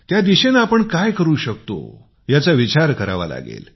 त्या दिशेनी आपण काय करू शकतो याचा विचार करावा लागेल